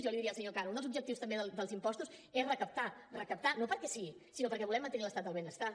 jo li diria al senyor cano un dels objectius també dels impostos és recaptar recaptar no perquè sí sinó perquè volem mantenir l’estat del benestar